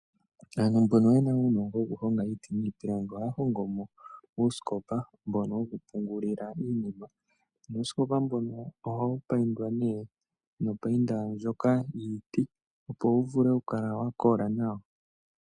Aantu mbono yena uunongo wokuhonga iiti niipilangi, ohaya hongo mo uusikopa mbono wokupungulila iinima. Nuusikopa mbono ohawu paindwa nee nopainda ndjoka yiiti opo wuvule okukala wakola nawa.